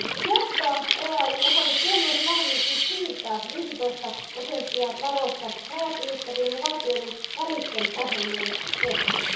Joustoa EAYn osalta tuo myös mahdollisuus siirtää 15 prosenttia varoista rajat ylittävien ja valtioiden välisten ohjelmien kesken.